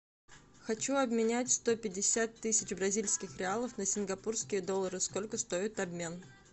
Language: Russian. хочу обменять сто пятьдесят тысяч бразильских реалов на сингапурские доллары сколько стоит обмен